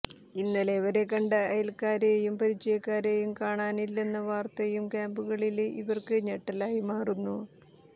ഇന്നലെ വരെ കണ്ട അയല്ക്കാരെയും പരിചയക്കാരെയും കാണാനില്ലെന്ന വാര്ത്തയും ക്യാമ്പുകളില് ഇവര്ക്ക് ഞെട്ടലായി മാറുന്നു